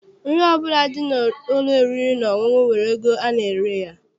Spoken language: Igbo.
Nri ọbụla dị n'ụlọ oriri na ọṅụṅụ nwere ego ana-ere ya.